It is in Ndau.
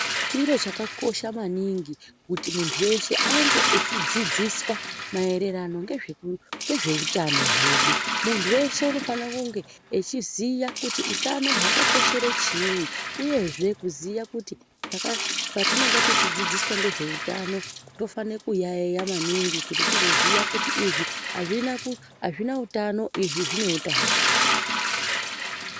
Chiro chakakosha maningi kuti munthu weshe ange echidzidziswa maererano ngezveutano hwedu munthu weshe unofane kunge echiziya kuti utano hwakakoshere chiinyi uyezve kuziye kuti patinenge tichidzidziswa ngezveutano tinofanrwa kuyaiya maningi kuti tizoziya kuti izvi azvina utano izvi zvine utano.